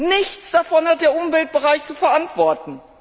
Nichts davon hat der Umweltbereich zu verantworten.